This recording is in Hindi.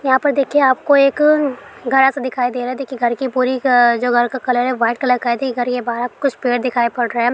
यहां पर देखिए आपको एक घड़ा-सा दिखाई दे रहा है| देखिए घर की पूरी क-अ-जो घर का कलर है वाइट कलर का है| घर के बाहर कुछ पेड़ दिखाई पड़ रहा है।